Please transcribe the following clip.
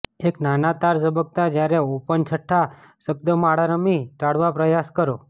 એક નાના તાર ઝબકતા જ્યારે ઓપન છઠ્ઠા શબ્દમાળા રમી ટાળવા પ્રયાસ કરો